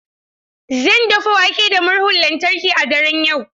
Zan dafa wake da murhun lantarki a daren yau.